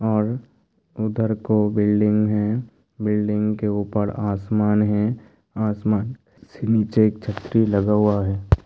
और उधर को बिल्डिंग है बिल्डिंग के ऊपर आसमान है आसमान से नीचे एक छतरी लगा हुआ है।